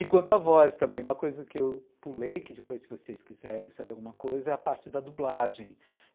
E quanto à voz também, uma coisa que eu pulei, que depois, se vocês quiserem saber alguma coisa, é a parte da dublagem.